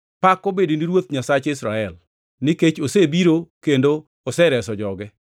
“Pak obed ne Ruoth Nyasach Israel; nikech osebiro kendo osereso joge.